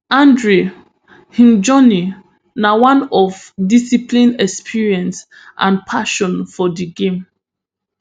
andre im journey na one of discipline experience and passion for di game